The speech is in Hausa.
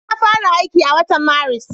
Na fara aiki a watan Maris.